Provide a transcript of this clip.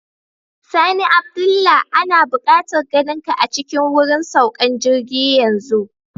Sani Abdullah, ana bukatar ganinka a cikin wurin saukan jirgi yanzu.